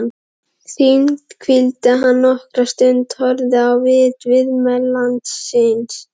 Þannig hvíldi hann nokkra stund horfinn á vit viðmælanda síns.